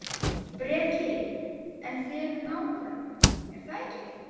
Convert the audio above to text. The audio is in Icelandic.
Breki: En þið eruð nágrannar, er það ekki?